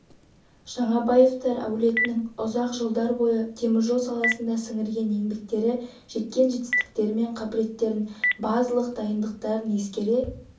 жаңабаевтар әулетінің ұзақ жылдар бойы теміржол саласында сіңірген еңбектері жеткен жетістіктері мен қабілеттіліктерін базалық дайындықтарын ескере